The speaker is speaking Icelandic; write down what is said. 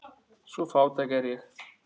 Svo fátæk er ég.